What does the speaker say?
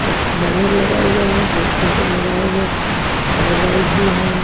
एक बैनर लगा हुआ है बहुत सारे मोबाइल है कलर व्हाईट भी है।